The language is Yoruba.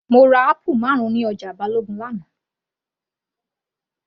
Mo ra apple marun ní ọjà Balogun l'ana